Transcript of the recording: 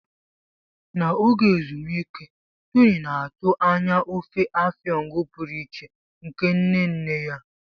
N'oge ezumike, Tony na-atụ anya ofe Afang pụrụ iche nke nne nne ya.